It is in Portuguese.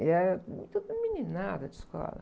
E era tudo meninada de escola.